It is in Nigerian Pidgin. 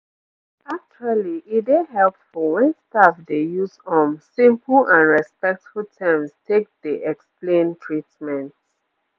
actually e dey helpful wen staff dey use um simple and respectful terms take dey explain treatments